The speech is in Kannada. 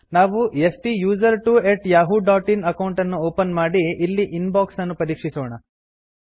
ನಾವು STUSERTWOyahooin ಅಕೌಂಟ್ ಅನ್ನು ಓಪನ್ ಮಾಡಿ ಇನ್ ಬಾಕ್ಸ್ ಅನ್ನು ಪರೀಕ್ಷಿಸೋಣ